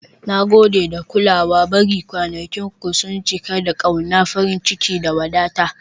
Na gode da kulawa, bari kwanakinku su cika da ƙauna, farin ciki, da wadata. "